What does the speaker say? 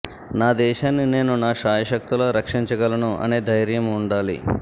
నా దేశాన్ని నేను నా శాయశక్తులా రక్షించగలను అనే ధైర్యం ఉండాలి